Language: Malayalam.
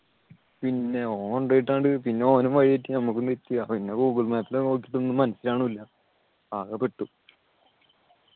പിന്നെ ഓൻ കൊണ്ടുപോയിട്ട് അങ്ങട് പിന്നെ ഓനും വഴിതെറ്റി നമുക്കും തെറ്റി അപ്പം പിന്നെ ഗൂഗിൾ മാപ്പ് നോക്കിയിട്ട് ഒന്നും മനസ്സിലാവുന്നില്ല ആകെപ്പെട്ടു